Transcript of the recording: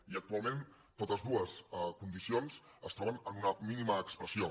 i actualment totes dues condicions es troben en una mínima expressió